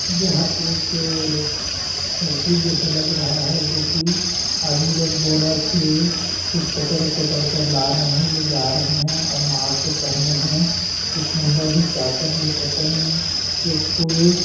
यहाँ एक फैक्ट्री जैसे लग रहा है जो कि आदमी लोग बोरा से कुछ पकड़-पकड़ कर ला रहे हैं ले जा रहे हैं और मास्क पहने हैं एक महिला भी क्या कर रही है पता नहीं एक पुरुष --